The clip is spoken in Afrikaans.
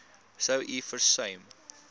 sou u versuim